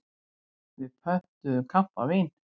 Við pöntuðum kampavín.